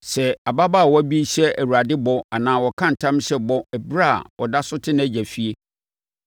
“Sɛ ababaawa bi hyɛ Awurade bɔ anaa ɔka ntam hyɛ bɔ ɛberɛ a ɔda so te nʼagya fie,